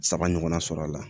Saba ɲɔgɔnna sɔrɔ a la